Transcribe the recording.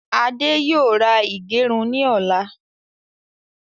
Ade yóò ra ìgẹrun ni ọ̀la